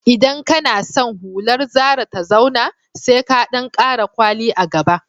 Idan kana san hular zara ta zauna, sai ka ɗan ƙara kwali a gaba